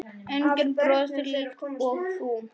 Enginn brosir líkt og þú.